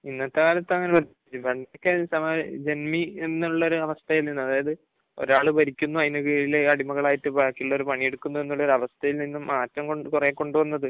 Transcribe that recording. ഇന്നത്തെ കാലത്ത് അങ്ങനെ, പണ്ടൊക്കെ ഇങ്ങനെ ജന്മി എന്നുള്ള അവസ്ഥയിൽനിന്ന് അതായത് ഒരാൾ ഭരിക്കുന്നു, അതിനു കീഴിൽ അടിമകൾ ആയിട്ട് ബാക്കിയുള്ളവർ പണിയെടുക്കുന്നു എന്നുള്ള ഒരു അവസ്ഥയിൽ നിന്നും മാറ്റം കുറെ കൊണ്ടുവന്നത്